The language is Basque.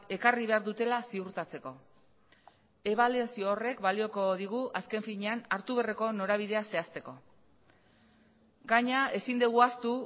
ekarri behar dutela ziurtatzeko ebaluazio horrek balioko digu azken finean hartu beharreko norabidea zehazteko gainera ezin dugu ahaztu